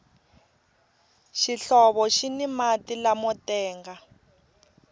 xihlovo xini mati lamo tenga